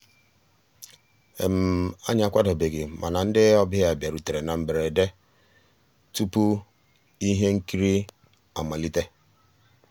ànyị́ àkwàdóbéghí màná ndị́ ọ̀bịá bìàrùtérè ná mbérèdé túpú íhé nkírí àmàlíté.